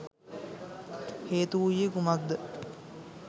හේතු වූයේ කුමක් ද?